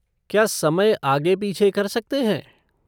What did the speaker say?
क्या समय आगे पीछे कर सकते हैं?